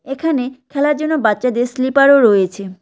এখানে খেলার জন্য বাচ্চাদের স্লিপার -ও রয়েছে।